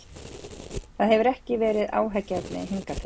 Það hefur ekki verið áhyggjuefni hingað til.